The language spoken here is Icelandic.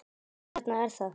Þarna er það!